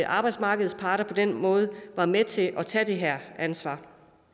arbejdsmarkedets parter på den måde var med til at tage det her ansvar